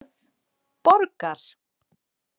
Borgar